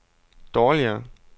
dårligere